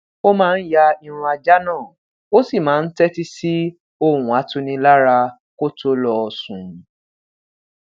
ó máa ń ya irun ajá náà ó sì máa ń tétí sí ohùn atunilára kó tó lọ sùn